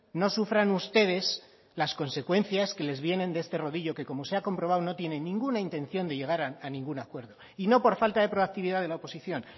no sufran ustedes las consecuencias que les vienen de este rodillo que como se ha comprobado no tiene ninguna intención de llegar a ningún acuerdo y no por falta de proactividad de la oposición